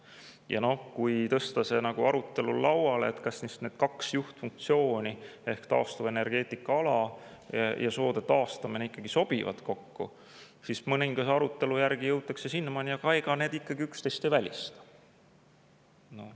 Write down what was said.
Ja kui tõsta arutelulauale, kas need kaks põhifunktsiooni – taastuvenergeetika ja soode taastamine – ikkagi sobivad kokku, siis mõningase arutelu järel jõutakse sinnamaani, et ega need üksteist ei välista.